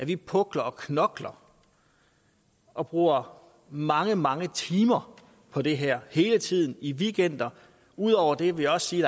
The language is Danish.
vi pukler og knokler og bruger mange mange timer på det her hele tiden i weekender ud over det vil jeg sige